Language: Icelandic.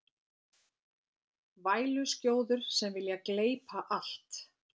Væluskjóður sem vilja gleypa allt